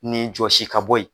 Nin jɔsi ka bɔ yen